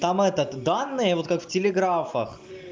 там этот данные вот как в телеграфах